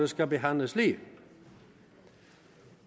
skal behandles lige